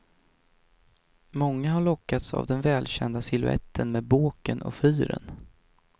Många har lockats av den välkända siluetten med båken och fyren.